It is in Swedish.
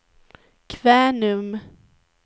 Kvänum